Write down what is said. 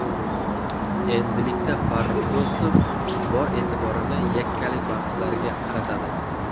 Endilikda Farrux Do‘stov bor e’tiborini yakkalik bahslariga qaratadi.